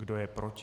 Kdo je proti?